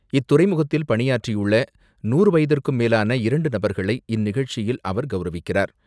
இத்துறைமுகத்தில் பணியாற்றியுள்ள நூறு வயதிற்கும் மேலான இரண்டு நபர்களை இந்நிகழ்ச்சியில் அவர் கௌரவிக்கிறார்.